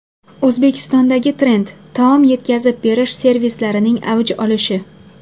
O‘zbekistondagi trend: taom yetkazib berish servislarining avj olishi.